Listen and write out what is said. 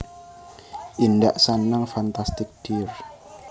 Indak Sanang Fantastic dear